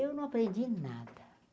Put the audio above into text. Eu não aprendi nada.